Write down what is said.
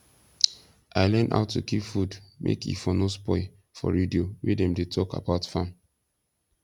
i learn how to keep food mske e for no spoil for radio wey dem de talk about farm